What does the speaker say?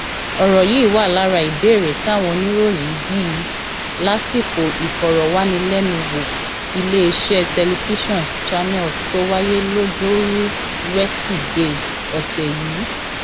ọrọ yìí wà lára ìbéèrè táwọn oníròyìn bi í lásìkò ìfọrọwánilẹnuwò iléeṣẹ tẹlifíṣàn channels tó wáyé lojoruu wesidee ọsẹ yìí